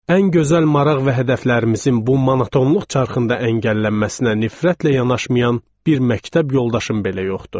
Ən gözəl maraq və hədəflərimizin bu monotonluq çarxında əngəllənməsinə nifrətlə yanaşmayan bir məktəb yoldaşım belə yoxdu.